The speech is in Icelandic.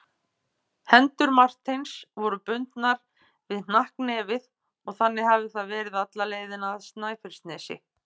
Hendur Marteins voru bundnar við hnakknefið og þannig hafði það verið alla leiðina af Snæfellsnesi.